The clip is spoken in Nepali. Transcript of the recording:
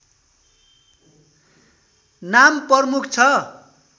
नाम प्रमुख छ